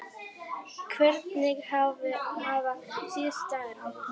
Hvernig hafa síðustu dagar verið?